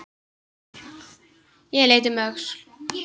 Ég leit um öxl.